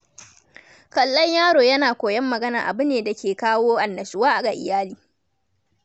Kallon yaro yana koyon magana abu ne da ke kawo annashuwa ga iyali.